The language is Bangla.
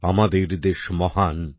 আমাদের দেশ মহান